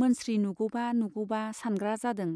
मोनस्रि नुगौबा नुगौबा सानग्रा जादों।